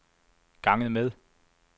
ganget med